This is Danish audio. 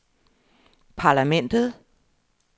parlamentet